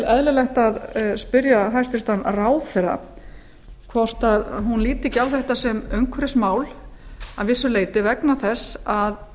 eðlilegt að spyrja hæstvirtan ráðherra hvort hún líti ekki á þetta sem umhverfismál að vissu leyti vegna þess að